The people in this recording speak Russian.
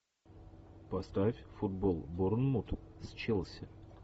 поставь футбол борнмут с челси